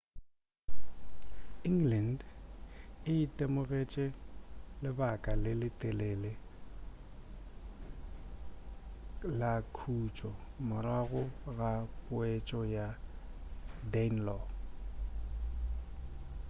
england e itemogetše lebaka le letelele la khutšo morago ga poetšo ya danelaw